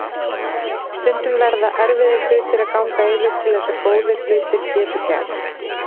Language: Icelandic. Stundum verða erfiðir hlutir að ganga yfir til þess að góðir hlutir geti gerst.